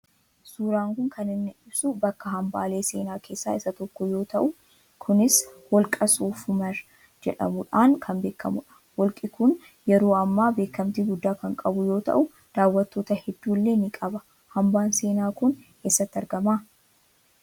Suuraan kun kan inni ibsu bakka hambaalee seenaa keessaa isa tokko yoo ta'u kunis Holqa Soof Umar jedhamuudhaan kan beekamu dha. Holqi kun yeroo ammaa beekamtii guddaa kan qabu yoo ta'u daawwattoota hedduu illee ni qaba. Hambaan seenaa kun eessatti argama?